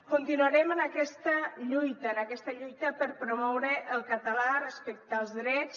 continuarem en aquesta lluita en aquesta lluita per promoure el català respecte als drets